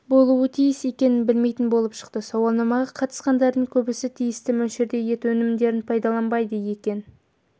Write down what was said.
болуы тиіс екенін білмейтін болып шықты сауалнамаға қатысқандардың көбісі тиісті мөлшерде ет өнімдерін пайдаланбайды екен